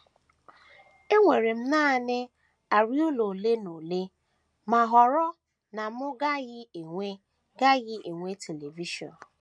Enwere m nanị arịa ụlọ ole na ole ma họrọ na m gaghị enwe gaghị enwe telivishọn.